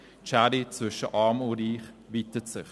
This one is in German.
die Schere zwischen Arm und Reich weitet sich.